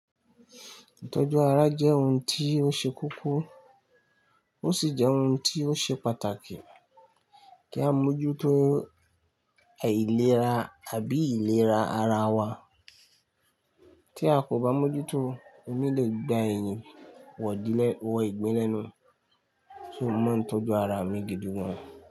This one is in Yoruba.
Ìtọ́jú ara jẹ́ ohun tí ó ṣe kókó, ó sì jẹ́ ohun tí ó ṣe pàtàkì kí á mójútó àìlera àbí ìlera ara wa. Tí a kò bá mójútó, omi lè gba ẹ̀yìn wọ ìdílé, wọ ìgbin lẹ́nu. So, mò maa ń tọ́jú ara mi gidi gan.